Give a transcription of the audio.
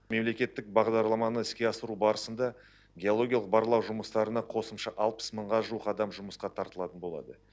мемлекеттік бағдарламаны іске асыру барысында геологиялық барлау жұмыстарына қосымша алпыс мыңға жуық адам жұмысқа тартылатын болады